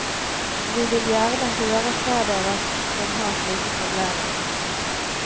Vi vil gjerne høre fra dere som har slike problemer.